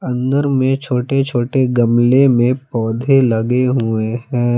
अंदर में छोटे छोटे गमले में पौधे लगे हुए हैं।